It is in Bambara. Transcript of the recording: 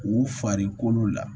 U farikolo la